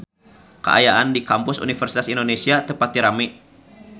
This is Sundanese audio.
Kaayaan di Kampus Universitas Indonesia teu pati rame